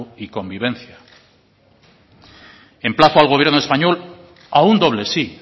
y convivencia emplazo al gobierno español a un doble sí